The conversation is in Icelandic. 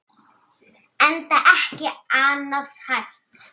Enda ekki annað hægt.